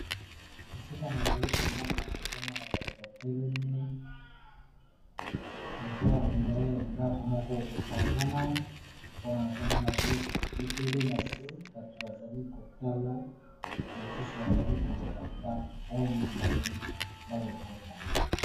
Esika nazali komona nazomona bato ya telemi aza hondre ndako moko epanzana mpona nazomona biloko ebele na se bato bazali kotala na mosusu bazali kolokota oyo balingi balokota.